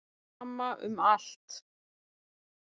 Sama um allt.